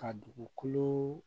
Ka dugukolo